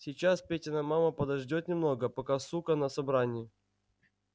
сейчас петина мама подождёт немного пока сука на собрании